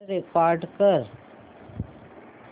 call record कर